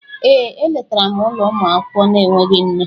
Ee, e letara m ụlọ ụmụaka na-enweghị nne.